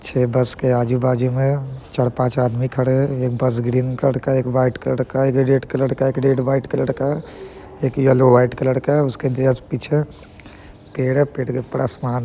छह बस के आजु-बाजू में चार पांच आदमी खड़े है एक बस ग्रीन कलर का एक व्हाइट कलर का एक रेड कलर का एक रेड व्हाइट कलर का एक येलो व्हाइट कलर का है उसके जस्ट पीछे पेड़ है पेड़ के ऊपर आसमान है।